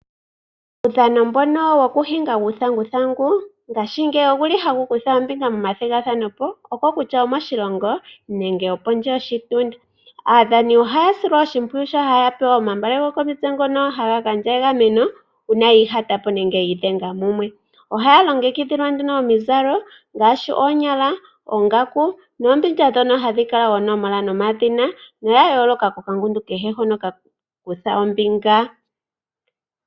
Uudhano wokuhinga uuthanguthangu ngashingeyi owuli hawu kutha ombinga momathigathano moshilongo nopondje. aadhani ohaya silwa oshimpwiyu mokupewa omagala ngoka ha ya zala komitse opo yi igamene ngele opena ngoka iihatapo nenge yi idhenga mumwe. Ohaya longekidhilwa omizalo ngaashi omanyala ,oongaku, nuumbindja mbono hawukala oonomola nomadhina ga yooloka kuungundu uukwawo mboka wa kutha ombinga